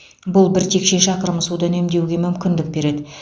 бұл бір текше шақырым суды үнемдеуге мүмкіндік береді